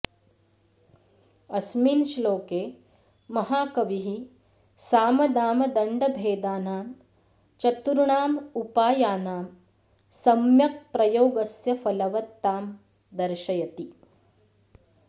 अस्मिन् श्लोके महाकविः सामदानदण्डभेदानां चतुर्णामुपायानां सम्यक्प्रयोगस्य फलवत्तां दर्शयति